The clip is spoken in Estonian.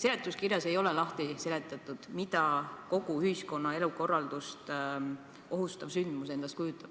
Seletuskirjas ei ole seletatud, mida kogu ühiskonna elukorraldust ohustav sündmus endast kujutab,